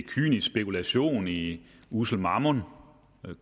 kynisk spekulation i ussel mammon